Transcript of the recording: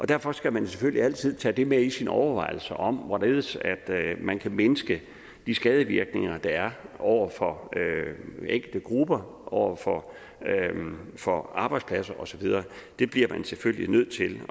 derfor skal man selvfølgelig altid tage det med i sine overvejelser om hvorledes man kan mindske de skadevirkninger der er over for enkelte grupper over for for arbejdspladser og så videre det bliver man selvfølgelig nødt til